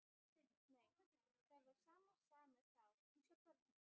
Nei, það er sama sagan með þá eins og börnin.